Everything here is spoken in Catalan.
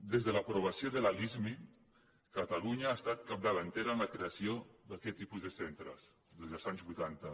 des de l’aprovació de la lismi catalunya ha estat capdavantera en la creació d’aquest tipus de centres des dels anys vuitanta